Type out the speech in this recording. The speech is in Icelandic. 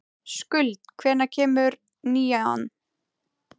Skuld, hvenær kemur nían?